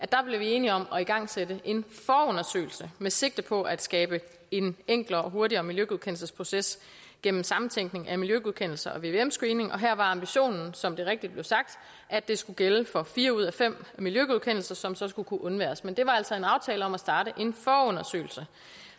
der blev enige om at igangsætte en forundersøgelse med sigte på at skabe en enklere og hurtigere miljøgodkendelsesproces gennem sammentænkning af miljøgodkendelser og vvm screening her var ambitionen som det rigtigt blev sagt at det skulle gælde for fire ud af fem miljøgodkendelser som så skulle kunne undværes men det var altså en aftale om at starte en forundersøgelse